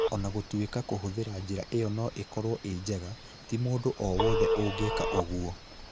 O na gũtuĩka kũhũthĩra njĩra ĩyo no ĩkorwo ĩnjega, ti mũndũ o wothe ũngĩka ũguo.